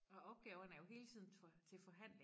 Og opgaverne er jo hele tiden til forhandling